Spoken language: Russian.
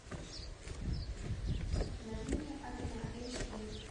на линии огня эйч ди